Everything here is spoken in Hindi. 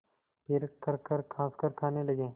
फिर खरखर खाँसकर खाने लगे